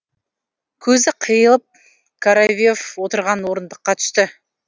көзі қиылып коровьев отырған орындыққа түсті